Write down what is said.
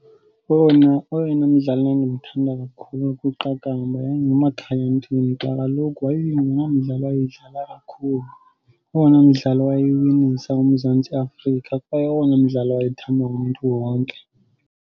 Owona, oyena mdlali ndandimthanda kakhulu kwiqakamba yayinguMakhaya Ntini kuba kaloku wayingulo mdlali wayedlala kakhulu. Owona mdlali wayewinisa uMzantsi Afrika kwaye owona mdlali wayethandwa ngumntu wonke.